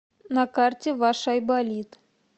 на карте ваш айболит